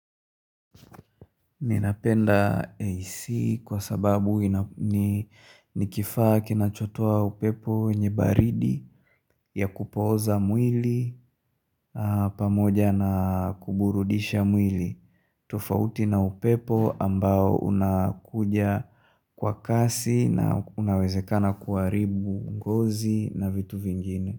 Ninapenda AC kwa sababu nikifaa kinachotoa upepo wenye baridi ya kupoza mwili pamoja na kuburudisha mwili. Tofauti na upepo ambao unakuja kwa kasi na unawezekana kuharibu ngozi na vitu vingine.